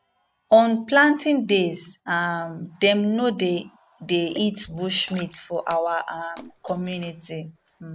on planting days um dem no dey dey eat bush meat for our um community um